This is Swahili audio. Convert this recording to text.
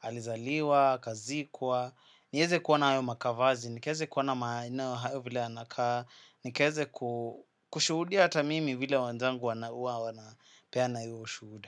alizaliwa, akazikwa. Nieze kuona hayo makavazi, nikaweze kuona maeneo hayo vile yanakaa. Nikaweze kushuhudia hata mimi vile wanzangu wanapeana huwa wanapeana hio ushuhuda.